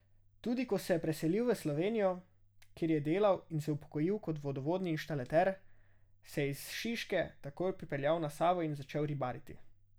Tudi ko se je priselil v Slovenijo, kjer je delal in se upokojil kot vodovodni inštalater, se je iz Šiške takoj pripeljal na Savo in začel ribariti.